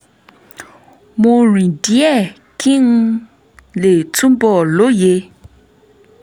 mo rìn díẹ̀ kí n lè túbọ̀ lóye